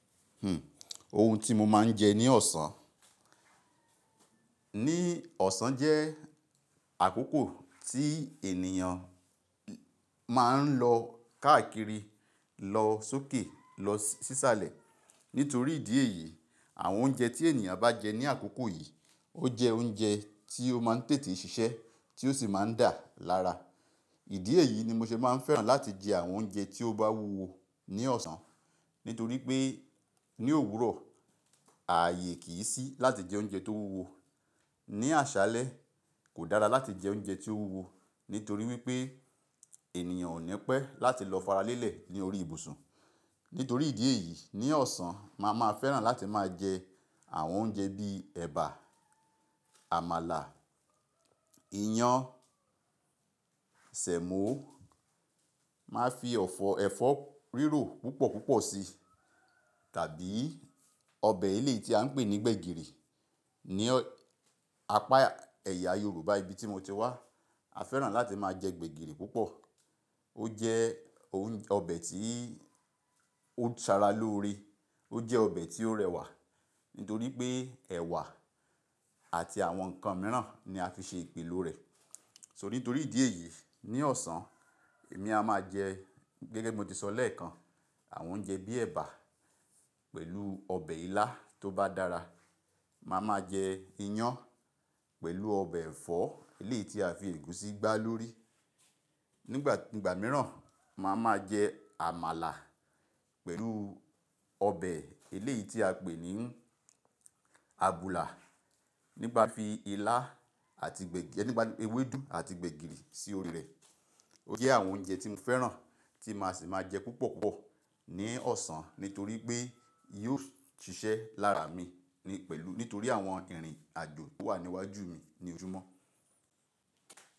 Hmm, ohun tí mo máa ń jẹ ní ọ̀sán. Ní ọ̀sán jẹ́ àkókò tí ènìyàn máa ń lọ káàkiri, lọ sókè, lọ sísàlẹ̀. Nítorí ìdí èyí, àwọn oúnjẹ tí ènìyàn bá jẹ ní àkókò yìí ó jẹ oúnjẹ tí ó máa ń tètè ṣiṣẹ́, tí ó sì máa ń dà lára. Ìdí èyí ni mo ṣe máa ń fẹ́ràn láti jẹ àwọn oúnjẹ tí ó bá wúwo ní ọ̀sán. Nítorí pé ní òwúrọ̀ ààyè kì í sí láti jẹ oúnjẹ tó wúwo. Ni àṣálẹ́ kò dára láti jẹ oúnjẹ tí ó wúwo, nítorí wípé ènìyàn ò ní pẹ́ láti lọ faralẹ́lẹ̀ ní orí ibùsùn. Nítorí ìdí èyí, ní ọ̀sán màá máa fẹ́ràn láti máa jẹ àwọn oúnjẹ bíi ẹ̀bà, àmàlà, iyán, sẹ̀mọ́, máa fi ẹ̀fọ́ rírò púpọ̀ púpọ̀ sí tàbí ọbẹ̀ eleyi tí à ń pè ní gbegiri. Ni apá ẹ̀yà Yorùbá ibi tí mo ti wá, a fẹ́ràn láti máa jẹ gbegiri púpọ̀. Ó jẹ́ ounje-- ọbẹ̀ tí ó Sara lóore. Ó jẹ ọbẹ̀ tí ó rẹwà. Nítorí pé ẹ̀wà àti àwọn ǹkan mìíràn ni a fi ṣe ìpìlo rẹ̀. So nítorí ìdí èyí, ní ọ̀sán èmi a máa jẹ, gẹ́gẹ́ bi mo ti sọ lẹ́ẹ̀kan, àwọn oúnjẹ bíi ẹ̀bà pẹ̀lú ọbẹ̀ ilá tó bá dára. Màá máa jẹ iyán pẹ̀lú ọbẹ̀ ẹ̀fọ́ eléyìí tí a fi ègúsí gbá lórí. Nígbà, nígbà mìíràn màá máa jẹ àmàlà pẹ̀lú ọbẹ̀ eléyìí tí a pè ní abùlà. Nípà fi ilá àti gbẹ̀-- nípà ewédú àti gbegiri sí orí rẹ̀. Ó jẹ́ àwọn oúnjẹ tí mo fẹ́ràn tí màá sì máa jẹ púpọ̀ púpọ̀ ní ọ̀sán nítorí pé yóò ṣiṣẹ́ lára mi ní pẹ̀lú-- nítorí àwọn ìrìn àjò to wà níwájú mi ní ojúmọ́.